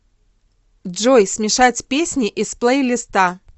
джой смешать песни из плейлиста